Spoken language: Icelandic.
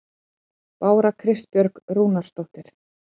Bára Kristbjörg Rúnarsdóttir